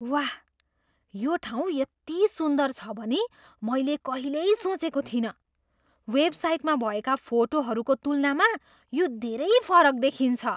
वाह! यो ठाउँ यति सुन्दर छ भनी मैले कहिल्यै सोचेको थिइनँ। वेबसाइटमा भएका फोटोहरूको तुलनामा यो धेरै फरक देखिन्छ।